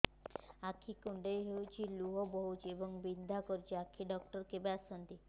ଆଖି କୁଣ୍ଡେଇ ହେଉଛି ଲୁହ ବହୁଛି ଏବଂ ବିନ୍ଧା କରୁଛି ଆଖି ଡକ୍ଟର କେବେ ଆସନ୍ତି